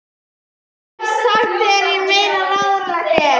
Ég hef þegar sagt þér meira en ráðlegt er.